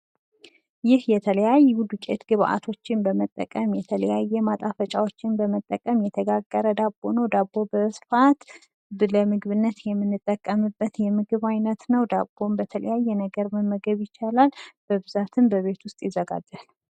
ይህ የተለያዩ የዱቂት ግባቶችን በመጠቀም የተለያየ ማጣፈጫዎች በመጠቀም የተጋገር ዳቦ ነው። ዳቦ በስፋት ለምግብነት የምንጠቀምበት የምግብ አይነት ነው። ዳቦን በተለያየ ነገር መመገብ ይቻላል። በብዛትም በቤት ውስጥ ይዘጋጃል።